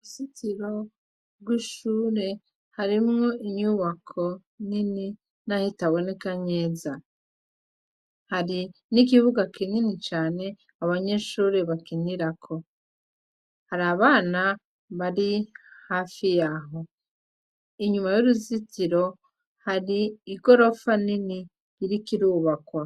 Uruzitiro rwishure harimwo inyubako nini nahi itaboneka neza, hari n'ikibuga kinini cane abanyeshure bakinirako, har’abana bari hafi yaho, inyuma yuruzitiro hari igorofa nini iriko irubakwa.